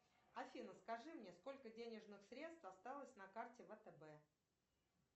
афина скажи мне сколько денежных средств осталось на карте втб